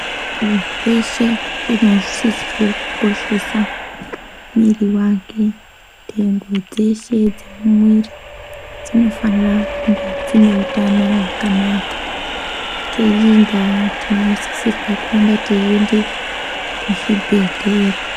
Munhu weshe unosisirwe kukoshesa mwiiri wake, ndengo dzeshe dzemuiri dzinofanira kunge dzine utano hwakanaka. Ngeiyi ndaa tinosisirwa kuramba teiende kuzvibhedhlera.